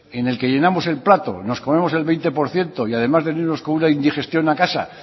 en el que llenamos el plato nos comemos el veinte por ciento y además venimos con una indigestión a casa